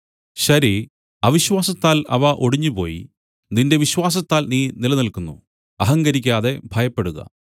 ശരി അവിശ്വാസത്താൽ അവ ഒടിഞ്ഞുപോയി നിന്റെ വിശ്വാസത്താൽ നീ നില്ക്കുന്നു അഹങ്കരിക്കാതെ ഭയപ്പെടുക